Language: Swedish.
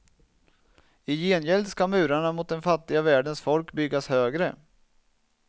I gengäld ska murarna mot den fattiga världens folk byggas högre.